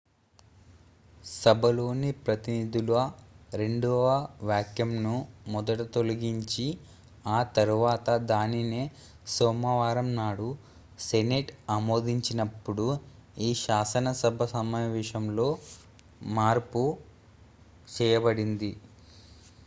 సభలోని ప్రతినిధుల రెండవ వాక్యంను మొదట తొలగించి ఆ తర్వాత దానినే సోమవారం నాడు సెనేట్ ఆమోదించిన్నప్పుడు ఈ శాసనసభ సమావేశంలో మార్పు చేయబడింది